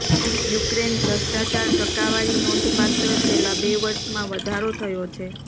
Ukraine ભ્રષ્ટાચાર ટકાવારી નોંધપાત્ર છેલ્લા બે વર્ષમાં વધારો થયો છે